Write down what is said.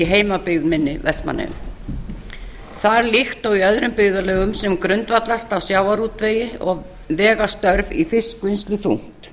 heimabyggð minni vestmannaeyjum þar líkt og í öðrum byggðarlögum sem grundvallast af sjávarútvegi vega störf í fiskvinnslu þungt